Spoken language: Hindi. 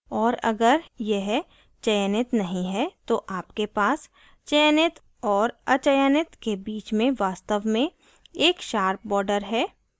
और अगर यह चयनित नहीं है तो आपके पास चयनित और अचयनित के बीच में वास्तव में एक sharp border है